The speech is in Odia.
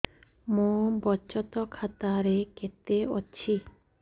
ମୋ ବଚତ ଖାତା ରେ କେତେ ଅଛି